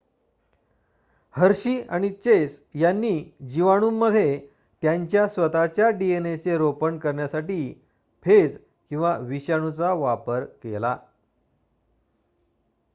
हर्षी आणि चेस यांनी जीवाणूंमध्ये त्यांच्या स्वतःच्या डीएनएचे रोपण करण्यासाठी फेज किंवा विषाणूचा वापर केला